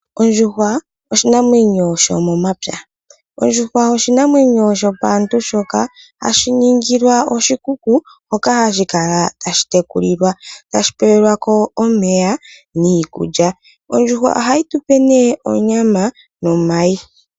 Ondjuhwa oshinamwenyo shomomapya ,ondjuhwa oshinamwenyo shompaantu shoka hashi ningilwa oshikuku hoka hashi kala tashi tekulilwa tashi pewelwa ko omeya niikulya ondjuhwa ohayi tupe nee onyama nomayi.